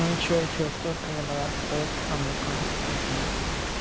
ну и что что сколько анан стоит а ну-ка удиви